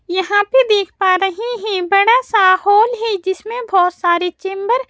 यहां पे देख पा रहे हैं बड़ा सा होल है जिसमें बहुत सारे चैम्बर --